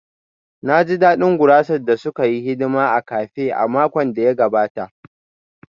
Na ji daɗin gurasar da suka yi hidima a cafe a makon da ya gabata